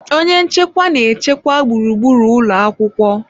Onye nchekwa na-echekwa gburugburu ụlọ akwụkwọ.